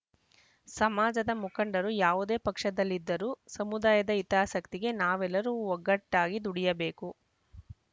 ಸಮಾಜದ ಮುಖಂಡರು ಯಾವುದೇ ಪಕ್ಷದಲ್ಲಿದ್ದರೂ ಸಮುದಾಯದ ಹಿತಾಸಕ್ತಿಗೆ ನಾವೆಲ್ಲರೂ ಒಗ್ಗಟ್ಟಾಗಿ ದುಡಿಯಬೇಕು